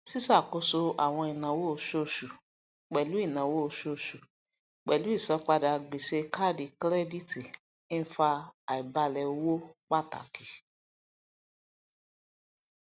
ṣíṣàkóso àwọn ináwó oṣooṣu pẹlú ináwó oṣooṣu pẹlú ìsanpadà gbèsè káàdì kírẹdítì ń fa àìbálẹ owó pàtàkì